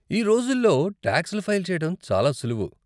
ఈ రోజుల్లో టాక్స్లు ఫైల్ చేయటం చాలా సులువు.